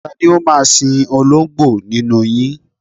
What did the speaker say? Ta ni ó máa sin oló̩ǹgbò nínú yin?